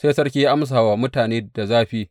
Sai Sarki ya amsa wa mutane da zafi.